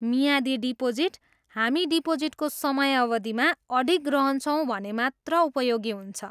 मियादी डिपोजिट हामी डिपोजिटको समयावधिमा अडिग रहन्छौँ भने मात्र उपयोगी हुन्छ।